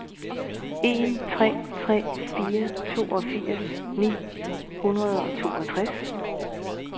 en tre tre fire toogfirs ni hundrede og toogtres